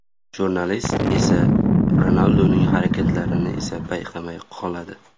Jurnalist esa Ronalduning harakatlarini esa payqamay qoladi.